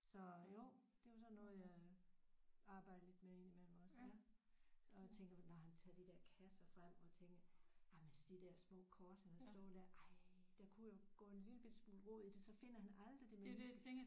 Så jo det var sådan noget jeg arbejdede lidt med ind imellem også ja så tænker vi når han tager de der kasser frem og tænker jamen de der små kort han havde stående der ej dem kunne jo gå en lille bitte smule rod i det så finder han aldrig det menneske